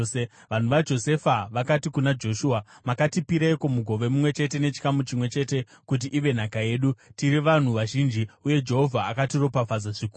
Vanhu vaJosefa vakati kuna Joshua, “Makatipireiko mugove mumwe chete nechikamu chimwe chete kuti ive nhaka yedu? Tiri vanhu vazhinji uye Jehovha akatiropafadza zvikuru.”